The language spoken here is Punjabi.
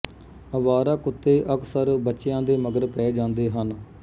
ਅਵਾਰਾ ਕੁੱਤੇ ਅਕਸਰ ਬੱਚਿਆਂ ਦੇ ਮਗਰ ਪੈ ਜਾਂਦੇ ਹਨ